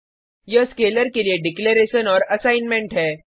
यह स्केलर के लिए डिक्लेरेशन और असाइंमेंट है